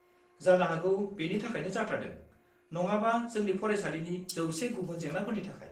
जानो हागौ बेनि थाखायनो जाथारदों नङाबा जोंनि फरायसालिनि जौसे गुबुन जेंनाफोरनि थाखाय।